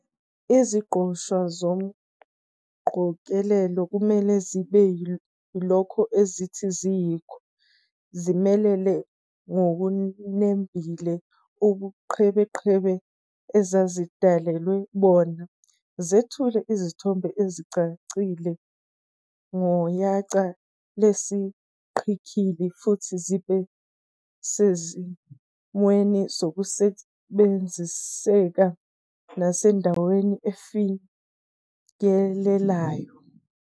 Iziqoshwa zomqogelelo kumele zibe yilokho ezithi ziyikho, zimelele ngokunembile ubuqhebeqhebe ezazidalelwe bona, zethule isithombe esicacileyo ngoyaca lwesiqikili, futhi zibe sesimweni sokusebenziseka nasendaweni efikelelayo.